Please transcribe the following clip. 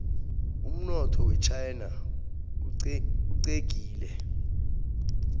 umnotho wechaina uxegile